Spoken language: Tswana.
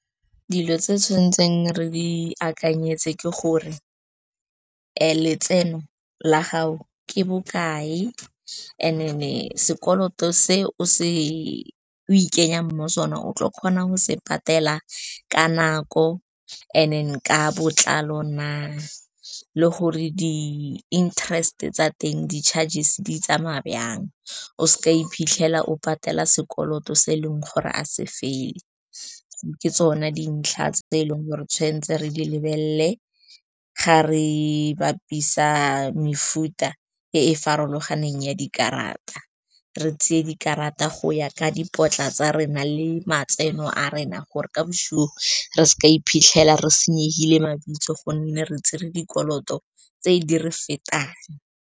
Dilo tse tshwanetseng re di akanyetse ke gore letseno la gago ke bokae, and-e sekoloto se o ikenyang mo sona o tla kgona go se patela ka nako And-e ka botlalo na, le gore di-interest tsa teng, di-chargers di tsamaya jang. O seka iphitlhela o patela sekoloto se e leng gore a se fele. Ke tsone dintlha tse eleng gore tshwanetse re di lebelele ga re bapisa mefuta e e farologaneng ya dikarata, re tseye dikarata go ya ka dipotla tsa rena le matseno a rena, gore ka bosigo re seka iphitlhela re senyegile mabitso gonne re tsere dikoloto tse di re fetang.